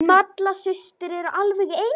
Malla systir eru alveg eins.